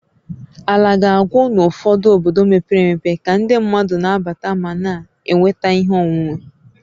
Ala ga-agwụ n'ụfọdụ obodo mepere emepe ka ndị mmadụ na-abata ma na-enweta ihe onwunwe